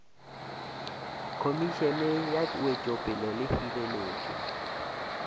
khomišene ya wetšopele le hireletšo